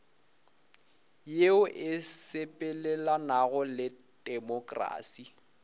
yeo e sepelelanago le temokrasi